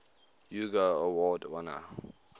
hugo award winner